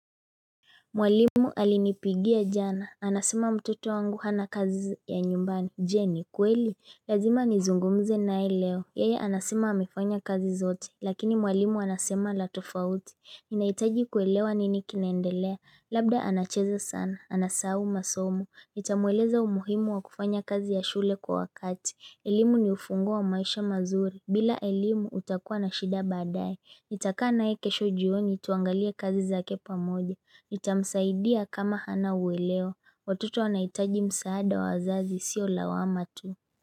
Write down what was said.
Mwalimu alinipigia jana, anasema mtoto wangu hana kazi ya nyumbani Je ni kweli, lazima nizungumze naye leo Yeye anasema amefanya kazi zote, lakini mwalimu anasema la tofauti Ninahitaji kuelewa nini kinaendelea, labda anacheza sana, anasahau masomo Nitamueleza umuhimu wa kufanya kazi ya shule kwa wakati elimu ni ufunguo wa maisha mazuri, bila elimu utakua na shida baadaye Nitakaa naye kesho jioni tuangalie kazi zake pamoja Nitamsaidia kama hana uweleo Watoto wanahitaji msaada wa wazazi siyo lawama tu.